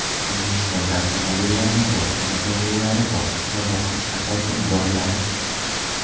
O‘zbekistonda avtomobillarning bojxona to‘lovlari bosqichma-bosqich pasaytirib boriladi.